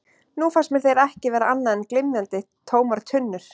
Nú fannst mér þeir ekki vera annað en glymjandi, tómar tunnur.